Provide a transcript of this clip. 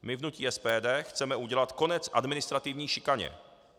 My v hnutí SPD chceme udělat konec administrativní šikaně.